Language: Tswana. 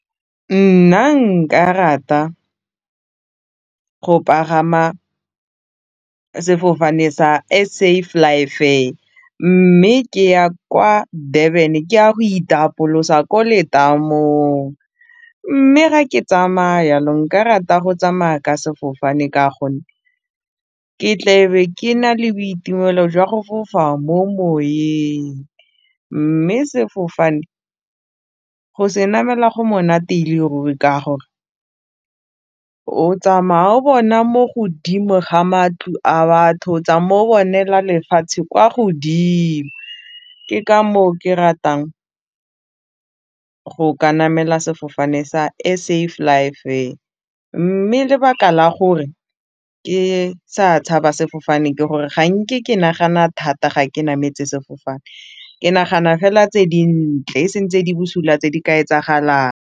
Nna nka rata go pagama sefofane S_A flyfair mme ke ya kwa Durban ke ya go itapolosa ko letamong mme ga ke tsamaya yalo nka rata go tsamaya ka sefofane ka gonne ke tle be ke na le boitumelo jwa go fofa mo moweng, mme sefofane go se namela go monate e le ruri ka gore o tsamaya o bona mo godimo ga matlo a batho o tsa mo bonela lefatshe kwa godimo ke ka moo ke ratang go ka namela sefofane S_A flyfair mme lebaka la gore ke sa tshaba sefofane ke gore ga nke ke nagana thata ga ke nametse sefofane ke nagana fela tse dintle e seng tse di busula tse di ka etsagalang.